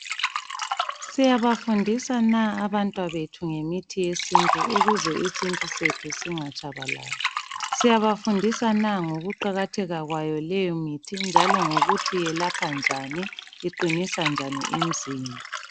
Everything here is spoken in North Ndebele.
Siyabafundisa na abantwabethu ngemithi yesintu ukuze isintu sethu singatshabalali. Siyabafundisa na ngokuqakatheka kwayo leyo mithi njalo ngokuthi yelapha njani, iqinisa njani imzimba.